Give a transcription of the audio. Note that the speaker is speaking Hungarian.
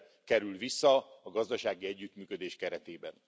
kerül vissza a gazdasági együttműködés keretében.